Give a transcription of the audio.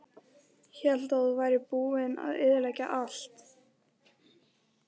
Hélt að þú værir búinn að eyðileggja allt.